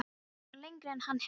Þetta var lengra en hann hélt.